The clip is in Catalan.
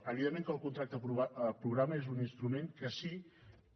evidentment que el contracte programa és un instrument que sí que